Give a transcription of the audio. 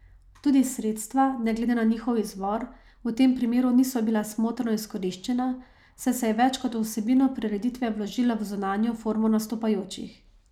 Tudi sredstva, ne glede na njihov izvor, v tem primeru niso bila smotrno izkoriščena, saj se je več kot v vsebino prireditve vložilo v zunanjo formo nastopajočih.